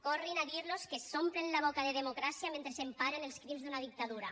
corrin a dir los que s’omplen la boca de democràcia mentre emparen els crims d’una dictadura